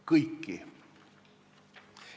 Kõiki.